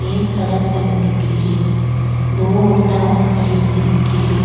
एक सड़क बनी दिखे री दो औरता और खड़ी हुई दिखे री।